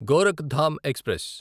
Gorakhdham express